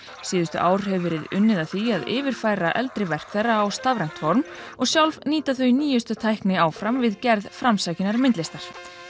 síðustu ár hefur verið unnið að því að yfirfæra eldri verk þeirra á stafrænt form og sjálf nýta þau nýjustu tækni áfram við gerð framsækinnar myndlistar